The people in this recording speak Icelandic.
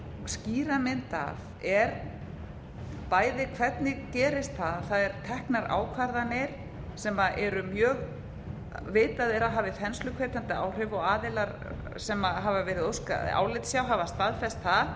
skýra mynd af er bæði hvernig gerist það að það eru teknar ákvarðanir sem vitað er að hafi þensluhvetjandi áhrif og aðilar sem hefur verið óskað álits hjá hafa staðfest